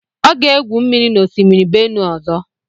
Ọ ga-egwu mmiri n'osimiri Benue ọzọ.